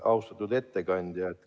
Austatud ettekandja!